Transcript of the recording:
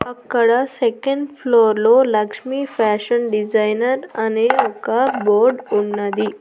అక్కడ second floor లో Lakshmi fashion designer అనే ఒక బోర్డ్ ఉన్నది.